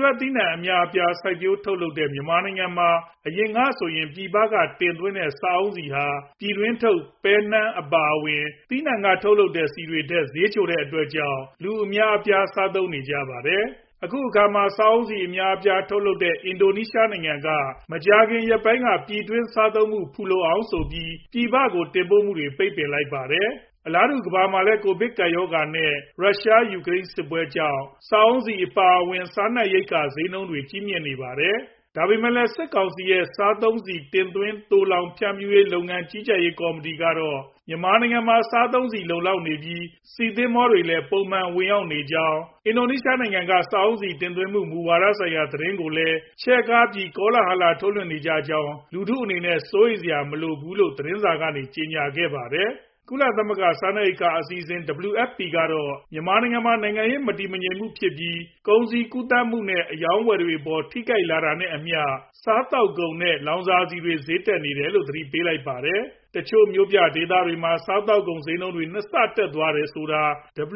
ထွက်သီးနှံ အများအပြားစိုက်ပျိုးထုတ်လုပ်တဲ့ မြန်မာနိုင်ငံမှာ အရင်ကဆိုရင် ပြည်ပက တင်သွင်းတဲ့ စားအုန်းဆီ ဟာ ပြည်တွင်းထုတ် ပဲ၊ နှမ်း အပါအဝင် သီးနှံ ထွက်ဆီတွေထက်အလွန် ဈေးချိုတဲ့အတွက်ကြောင့် လူအများအပြား စားသုံးနေကြပါတယ်။ အခုအခါမှာ စားအုန်းဆီအများအပြားထုတ်လုပ်တဲ့ အင်ဒိုနီးရှားနိုင်ငံက မကြာခင်ရက်ပိုင်းက ပြည်တွင်း စားသုံးမှု ဖူလုံအောင်ဆိုပြီး ပြည်ပကို တင်ပို့ခွင့် ပိတ်ပင်ထားလိုက်ပါတယ်။ အလားတူ ကမ္ဘာမှာလည်း ကိုဗစ် ကပ်ရောဂါ နဲ့ ရုရှား ၊ ယူကရိန်းစစ်ပွဲကြောင့် စားအုန်းဆီ အပါအဝင် စားနပ်ရိက္ခာ ဈေးနှုန်းတွေ ကြီးမြင့်နေပါတယ်။ ဒါပေမယ့်လည်း စစ်ကောင်စီရဲ့ စားသုံးဆီ တင်သွင်း သိုလှောင် ဖြန့်ဖြူးရေး လုပ်ငန်း ကြီးကြပ်ရေး ကော်မတီကတော့ မြန်မာနိုင်ငံမှာ စားသုံးဆီ လုံလောက်နေပြီး ဆီ သဘောၤတွေလည်း ပုံမှန် ဝင်ရောက်နေကြောင်း၊ အင်ဒိုနီးရှားက စားအုန်းဆီ တင်ပို့မှု မူဝါဒဆိုင်ရာ သတင်းတွေကိုလည်း ချဲ့ကားပြီး ကောလာဟလ ထုတ်လွှင့်ကြတာကြောင့် လူထု အနေနဲ့ စိုးရိမ်စရာ မလိုဘူးလို့ သတင်းစာကနေ ကြေညာခဲ့ပါတယ်။ ကုလသမဂ္ဂ စားနပ်ရိက္ခာအစီအစဉ် WFP ကတော့ မြန်မာနိုင်ငံမှာ နိုင်ငံရေးမတည်မငြိမ်ဖြစ်ပြီး ကုန်စည်ကူးသန်းမှုနဲ့ အရောင်းအဝယ်တွေအပေါ် ထိခိုက်နေတာနဲ့အမ ျှ စားသောက်ကုန်နဲ့ လောင်စာဆီတွေ ဈေးတက်လာနေတယ်လို့ သတိပေးလိုက်ထားပါတယ်။ တချို့မြို့ပြဒေသတွေမှာ စားသောက်ကုန်ဈေးနှုန်းတွေ နှစ်ဆတက်သွားတယ်ဆိုတာ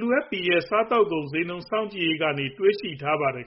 WFP ရဲ့ စားသောက်ကုန်ဈေးနှုန်း စောင့်ကြည့်ရေးကနေ တွေ့ရှိထားပါတယ်